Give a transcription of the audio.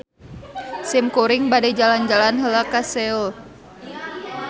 Simkuring bade jalan-jalan heula ka Seoul.